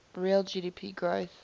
real gdp growth